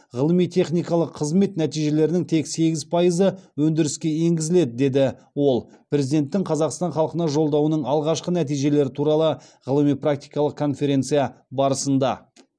ғылыми техникалық қызмет нәтижелерінің тек сегіз пайызы өндіріске енгізіледі деді ол президенттің қазақстан халқына жолдауының алғашқы нәтижелері туралы ғылыми практикалық конференция барысында